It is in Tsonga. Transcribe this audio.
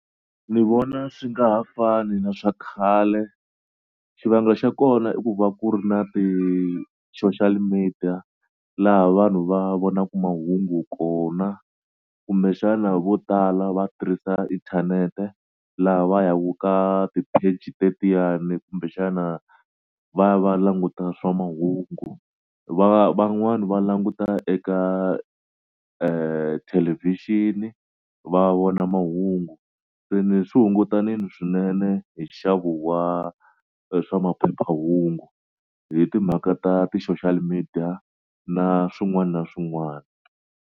Ni vona swi nga ha fani na swa khale xivangelo xa kona i ku va ku ri na ti-social media laha vanhu va vonaku mahungu kona kumbexana vo tala va tirhisa inthanete laha va ya ku ka ti-page tetiyani kumbexana va ya va languta swa mahungu va van'wani va languta eka thelevixini va vona mahungu se ni swi hungutanini swinene hi nxavo wa swa maphephahungu hi timhaka ta ti-social media na swin'wana na swin'wana.